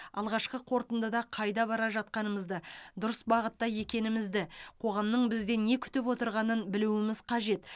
алғашқы қорытындыда қайда бара жатқанымызды дұрыс бағытта екенімізді қоғамның бізден не күтіп отырғанын білуіміз қажет